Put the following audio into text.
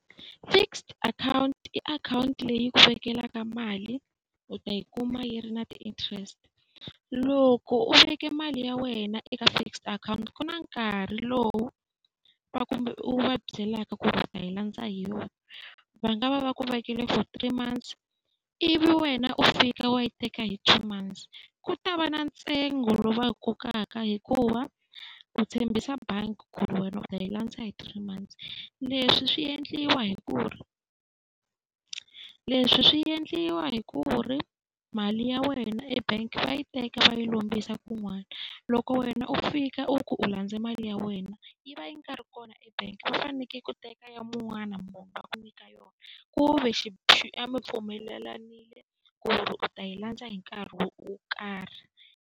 Fixed akhawunti i akhawunti leyi ku vekelaka mali u ta yi kuma yi ri na ti-interest. Loko u veke mali ya wena eka fixed akhawunti ku na nkarhi lowu va kumbe u va byelaka ku ri u ta yi landza hi yona. Va nga va va ku vekele for three months, ivi wena u fika u ya yi teka hi two months, ku ta va na ntsengo lowu va wu kokaka hikuva ku tshembisa bangi ku ri wena u ta yi landza hi three months. Leswi swi endliwa hi ku ri, leswi swi endliwa hi ku ri mali ya wena e-bank va yi teka va yi lombisa kun'wana. Loko wena u fika u ku u landze mali ya wena, yi va yi nga ri kona ebangi va fanekele ku teka ya un'wana munhu va ku nyika yona, ku ve a mi pfumelelanile ku ri u ta yi landza hi nkarhi wo karhi.